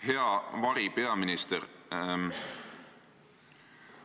Hea varipeaminister!